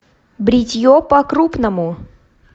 бритье по крупному